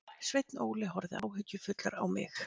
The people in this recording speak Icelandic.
Sveinn Óli horfði áhyggjufullur á mig.